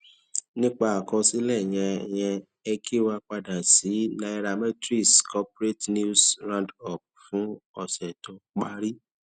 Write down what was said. nípa àkọsílẹ yẹn ẹ yẹn ẹ kí wa padà sí nairametrics corporate news roundup fún ọsẹ tó parí